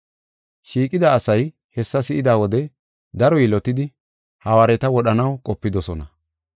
Shiiqida asay hessa si7ida wode daro yilotidi, hawaareta wodhanaw qopidosona.